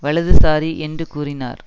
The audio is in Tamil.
வலதுசாரி என்று கூறினார்